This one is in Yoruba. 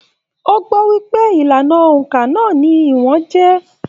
O gbọ wípé ìlànà óńka náà ní ìwọ̀n jẹ.